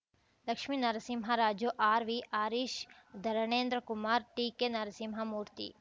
Lakshminarasimharaju RV Harish Dharanendrakumar TK Narasimhamurthy